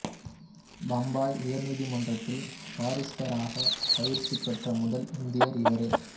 பம்பாய் உயர்நீதிமன்றத்தின் பாரிஸ்டராக பயிற்சி பெற்ற முதல் இந்தியரும் இவரே